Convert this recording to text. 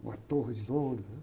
Uma torre de Londres, né?